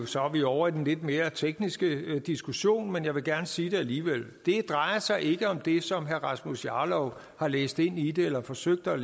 så er vi ovre i den lidt mere tekniske diskussion men jeg vil gerne sige det alligevel det drejer sig ikke om det som herre rasmus jarlov har læst ind i det eller forsøgte at